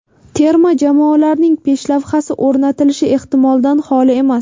Terma jamoalarning peshlavhasi o‘rnatilishi ehtimoldan xoli emas.